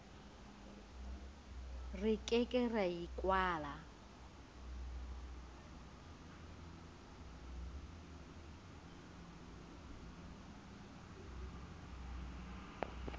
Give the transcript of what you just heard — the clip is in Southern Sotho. re ke ke ra ikwala